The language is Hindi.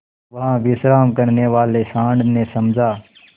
वहाँ विश्राम करने वाले सॉँड़ ने समझा